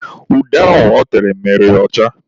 Ude ahụ ọ tere mere ya ọcha.